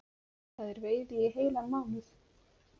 Það er veiði í heilan mánuð